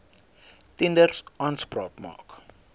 tenders aanspraak maak